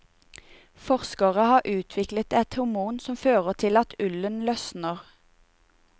Forskere har utviklet et hormon som fører til at ullen løsner.